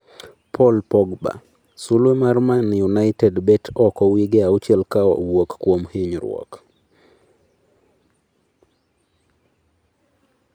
Paul Pogba: Suluwe mar Man United bet oko wige auchiel ka owuok kuom hinyruok